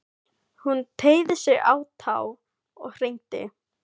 Hún teygði sig á tá og hringdi.